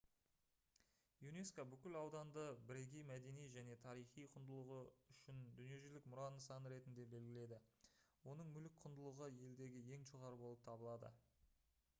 юнеско бүкіл ауданды бірегей мәдени және тарихи құндылығы үшін дүниежүзілік мұра нысаны ретінде белгіледі оның мүлік құндылығы елдегі ең жоғары болып табылады